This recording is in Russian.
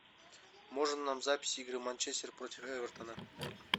можно нам запись игры манчестер против эвертона